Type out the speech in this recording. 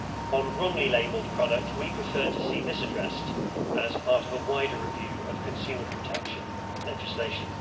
On wrongly labelled products, we prefer to see this addressed as part of a wider review of consumer protection legislation.